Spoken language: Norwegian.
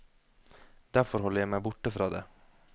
Derfor holder jeg meg borte fra det.